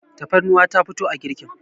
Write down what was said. tafarnuwa ta fito a girkin